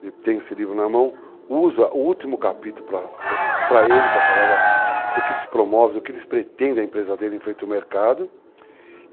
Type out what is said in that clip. Ele tem esse livro na mão, usa o último capítulo para ele, para falar do que ele se promove, do que ele pretende a empresa dele em frente ao mercado.